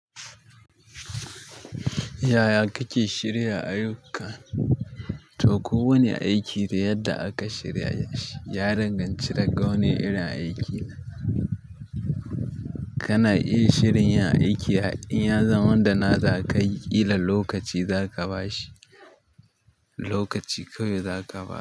Yaya kake shirya ayyuka? To, kowane aiki da yadda aka shirya shi ya danganci daga wanne irin aikin. Kana iya shirin yin aiki har iya zaman da na za ka yi, ƙila lokaci za ka ba shi, lokaci kawai za ka ba shi.